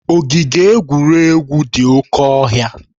Ogige egwuregwu dị oke ọhịa.